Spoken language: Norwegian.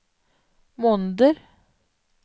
måneder